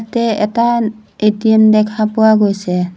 ইয়াতে এটা এ_টি_এম দেখা পোৱা গৈছে।